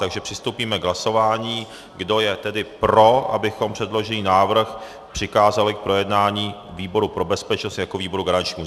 Takže přistoupíme k hlasování, kdo je tedy pro, abychom předložený návrh přikázali k projednání výboru pro bezpečnost jako výboru garančnímu.